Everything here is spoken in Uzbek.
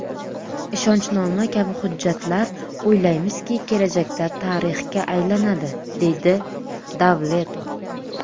Ishonchnoma kabi hujjatlar, o‘ylaymizki, kelajakda tarixga aylanadi”, deydi Davletov.